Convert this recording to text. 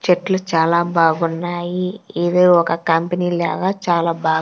చెట్లు చాలా బాగున్నాయి ఏదో ఒక కంపెనీ లాగా చాలా బా--